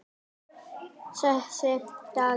Þessi maður var Róbert.